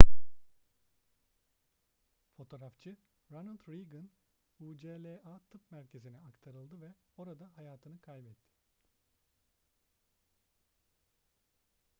fotoğrafçı ronald reagan ucla tıp merkezi'ne aktarıldı ve orada hayatını kaybetti